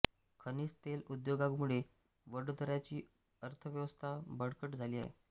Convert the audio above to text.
खनिज तेल उद्योगामुळे वडोदऱ्याची अर्थव्यवस्था बळकट झाली आहे